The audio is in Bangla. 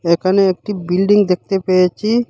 এখানে একটি বিল্ডিং দেখতে পেয়েছি।